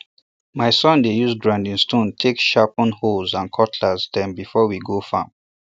my son dey use grinding stone take sharpen hoes and cutlasses dem before we go farm